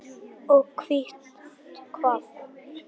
Og hvílíkt kakó.